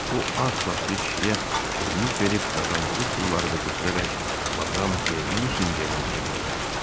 O ağ saçlı kişiyə şirinlik verib qazandığı pulları da götürərək Madam De Nusingenin evinə gəldi.